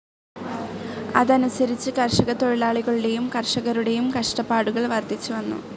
അതനുസരിച്ച് കർഷകത്തൊഴിലാളികളുടേയും കർഷകരുടേയും കഷ്ടപ്പാടുകൾ വർദ്ധിച്ചുവന്നു.